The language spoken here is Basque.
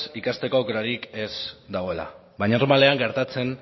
ikasteko aukerarik ez dagoela baina normalean gertatzen